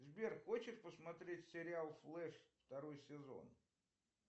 сбер хочешь посмотреть сериал флэш второй сезон